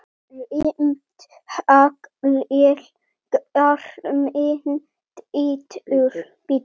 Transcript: Grimmt haglél garminn bítur.